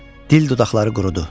Dil dodaqları qurudu.